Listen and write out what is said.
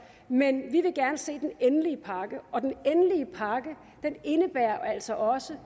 men vi vil gerne se den endelige pakke og den endelige pakke indebærer altså også